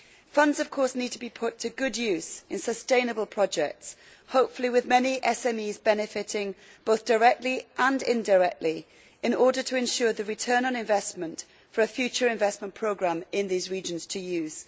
Funds, of course, need to be put to good use in sustainable projects, hopefully with many SMEs benefiting both directly and indirectly in order to ensure the return on investment for a future investment programme in these regions to use.